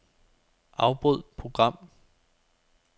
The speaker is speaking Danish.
Afbryd program.